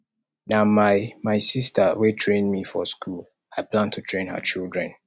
na my my sister wey train me for school i plan to train her children